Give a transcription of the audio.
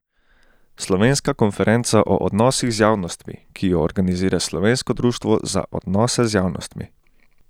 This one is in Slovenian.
Slovenska konferenca o odnosih z javnostmi, ki jo organizira Slovensko društvo za odnose z javnostmi.